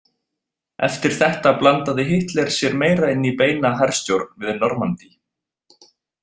Eftir þetta blandaði Hitler sér meira inn í beina herstjórn við Normandí.